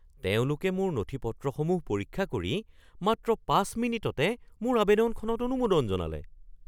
তেওঁলোকে মোৰ নথি-পত্ৰসমূহ পৰীক্ষা কৰি মাত্ৰ ৫ মিনিটতে মোৰ আৱেদনখনত অনুমোদন জনালে!